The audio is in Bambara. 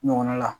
Ɲɔgɔnna la